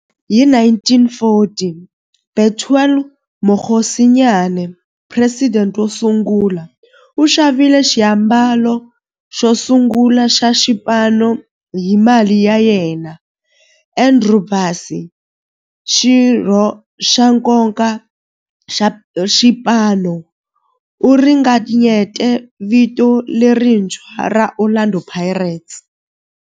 Hi 1940, Bethuel Mokgosinyane, president wosungula, u xavile xiambalo xosungula xa xipano hi mali ya yena. Andrew Bassie, xirho xa nkoka xa xipano, u ringanyete vito lerintshwa ra 'Orlando Pirates'.